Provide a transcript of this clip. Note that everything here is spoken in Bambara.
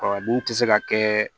Ɔ n'u tɛ se ka kɛ